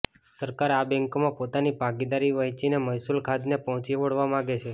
સરકાર આ બેન્કોમાં પોતાની ભાગીદારી વહેંચીને મહેસૂલ ખાધને પહોંચી વળવા માગે છે